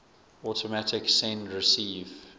automatic send receive